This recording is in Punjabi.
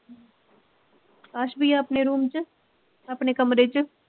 ਅਕਾਸ਼ ਬਈਆ ਆਪਣੇ ਰੂਮ ਚ ਆਪਣੇ ਕਮਰੇ ਚ